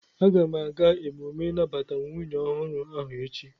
Aga m aga emume inabata nwunye ohuru ahu echi